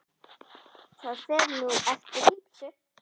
Það fer nú eftir ýmsu.